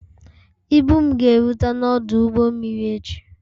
Ibu m ga-erute n'ọdụ ụgbọ mmiri echi